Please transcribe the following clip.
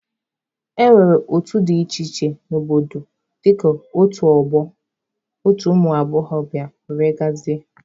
E nwere otu dị iche iche n'obodo dịka otu ọgbọ, otu ụmụ agbọghọbịa wdg.